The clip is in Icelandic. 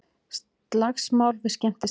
Slagsmál við skemmtistað